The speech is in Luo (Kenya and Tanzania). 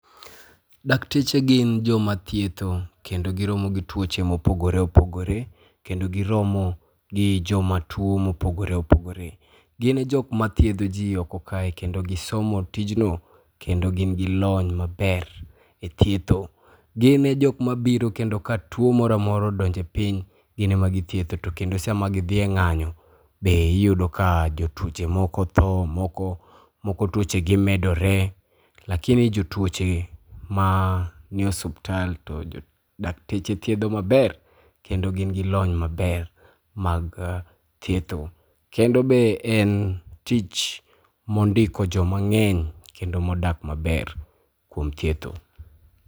Dakteche gin joma thietho kendo giromo gi tuoche mopogoreopogore, kendo giromo gi joma tuo mopogoreopogore. Gine jok ma thiedho ji oko kae kendo gisomo tijno, kendo gin gi lony maber e thietho . Gine jok mabiro kendo ka tuo moroamora odonje piny, gin ema githietho to kendo sama gidhi e ng'anyo, be iyudo ka jotuoche moko thoo, moko tuochegi medore. Lakini jotuoche ma nie osubtal to dakteche thiedho maber, kendo gin gi lony maber mag thietho kendo be en tich mondiko jomang'eny kendo modak maber kuom thietho.